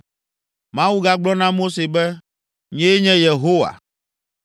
Mawu gagblɔ na Mose be, “Nyee nye Yehowa.